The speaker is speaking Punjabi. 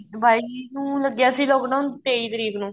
ਬਾਈ ਨੂੰ ਲੱਗਿਆ ਸੀ lock down ਤੇਈ ਤਰੀਕ ਨੂੰ